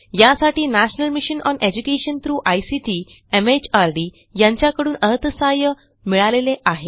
यासाठी national mission on education through ICT MHRD यांच्याकडून अर्थसहाय्य मिळालेले आहे